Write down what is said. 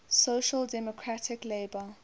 social democratic labour